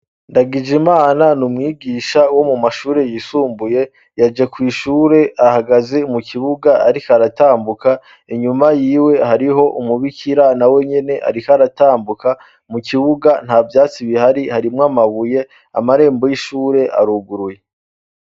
ndagijemana numwigisha wo mumashure yisumbuye yaje kw' ishure ahagaze mu kibuga ariko aratambuka inyuma yiwe hariho umubikira na wenyene ariko aratambuka mu kibuga nta vyatsi bihari harimwo amabuye amarembo y'ishure aruguruye